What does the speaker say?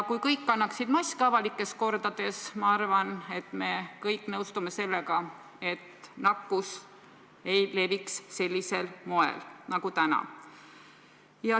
Kui kõik kannaksid avalikes kohtades maske, siis – ma arvan, et me kõik nõustume sellega – nakkus ei leviks sellisel moel nagu täna.